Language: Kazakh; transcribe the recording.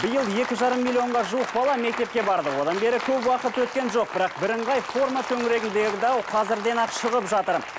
биыл екі жарым миллионға жуық бала мектепке барды одан бері көп уақыт өткен жоқ бірақ бірыңғай форма төңірегіндегі дау қазірден ақ шығып жатыр